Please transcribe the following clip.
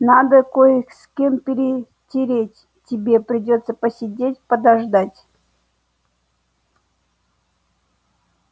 надо кое с кем перетереть тебе придётся посидеть подождать